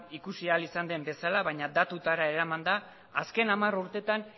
ikusi ahal izan den bezala baina datuetara eramanda azken hamar urtetan